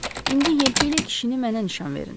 İndi yelpikli kişini mənə nişan verin.